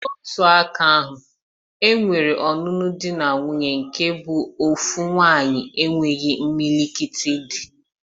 N'otu aka ahụ, e nwere ọnụnụ di na nwuńye nke bụ ofu nwannyi enwe imilikiti di.